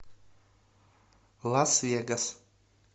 лас вегас